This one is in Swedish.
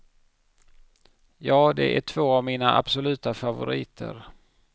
Ja, det är två av mina absoluta favoriter.